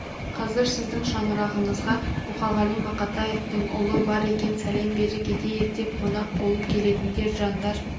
қазір сіздің шаңырағыңызға мұқағили мақатаевтың ұлы бар екен сәлем бере кетейік деп қонақ болып келетіндер жандар